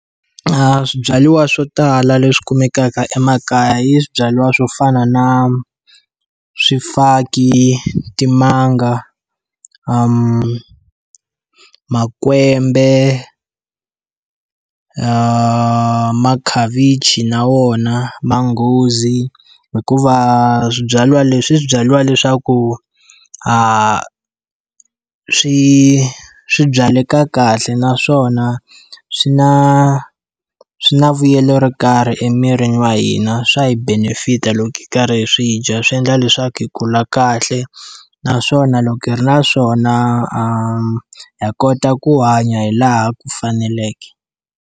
Swibyariwa swo tala leswi kumekaka emakaya i swibyariwa swo fana na swifaki, timanga, makwembe, makhavichi na wona, manghozi, hikuva swibyariwa leswi i swibyariwa leswaku swi swi byaleke kahle naswona swi na swi na vuyelo ro karhi emirini wa hina. Swa hi benefit-a loko hi karhi hi swi dya swi endla leswaku hi kula kahle, naswona loko hi ri na swona ha kota ku hanya hi laha ku faneleke.